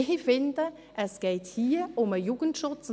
Ich finde aber, dass es hier um den Jugendschutz geht.